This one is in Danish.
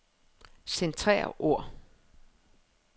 Centrer ord.